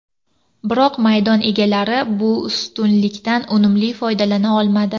Biroq maydon egalari bu ustunlikdan unumli foydalana olmadi.